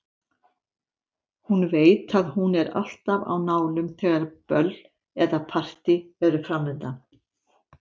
Hún veit að hún er alltaf á nálum þegar böll eða partí eru framundan.